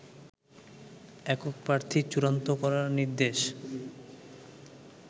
একক প্রার্থী চূড়ান্ত করার নির্দেশ